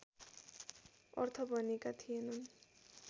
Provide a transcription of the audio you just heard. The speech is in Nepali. अर्थ भनेका थिएनन्